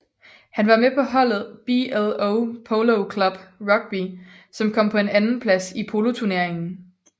Han var med på holdet BLO Polo Club Rugby som kom på en andenplads i poloturneringen